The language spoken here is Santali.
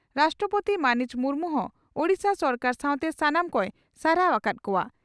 ᱨᱟᱥᱴᱨᱚᱯᱳᱛᱤ ᱢᱟᱹᱱᱤᱡ ᱢᱩᱨᱢᱩ ᱦᱚᱸ ᱳᱰᱤᱥᱟ ᱥᱚᱨᱠᱟᱨ ᱥᱟᱣᱛᱮ ᱥᱟᱱᱟᱢ ᱠᱚᱭ ᱥᱟᱨᱦᱟᱣ ᱟᱠᱟᱫ ᱠᱚᱜᱼᱟ ᱾